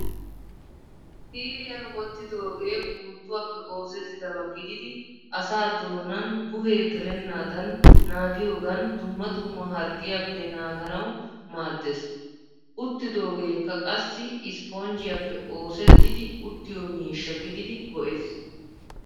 Siiriyan wottidoogee puuttuwaappe oosettidaba gididi asaa doonan buhe gelennaadan naagiyogan dumma dumma harggiyaappe naaganawu maaddeees. Uttidoogeekka qassi isiponjjiyaappe oosettidi uttiyo miishsha gididi go'ees.